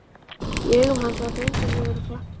Í augum hans var greindarlegur glampi.